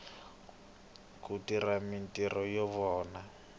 ku tirha mintirho ya vona